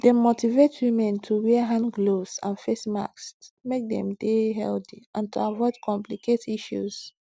dem motivate women to to wear hand gloves and face masks make dem dey healthy and avoid to complicate issues